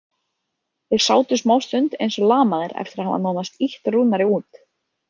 Þeir sátu smástund eins og lamaðir eftir að hafa nánast ýtt Rúnari út.